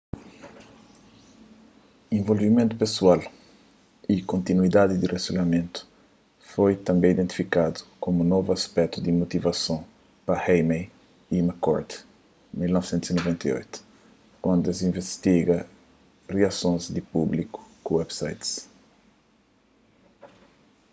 'involvimentu pesoal'” y 'kontinuidadi di rilasionamentu'” foi tanbê identifikadu komu novu aspetu di motivason pa eighmey y mccord 1998 kantu es invistiga riasons di públiku ku websites